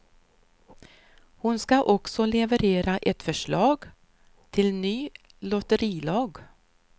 Hon ska också leverera ett förslag till ny lotterilag.